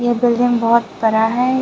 यह बिल्डिंग बहोत बड़ा है।